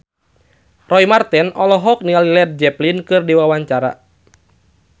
Roy Marten olohok ningali Led Zeppelin keur diwawancara